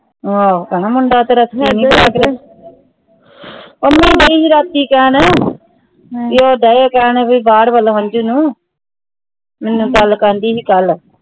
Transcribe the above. ਮੁੰਡਾ ਤੇਰਾ ਪੰਮੀ ਦਾ ਪਤਾ ਕਿ ਕਹਿਣ ਭੀ ਉਹਦਾ ਇਹ ਕਹਿਣ ਭੀ ਬਾਹਰ ਅੰਜੂ ਨੂੰ ਮੈਨੂੰ ਕੱਲ ਕਹਿੰਦੀ ਸੀ ਕੱਲ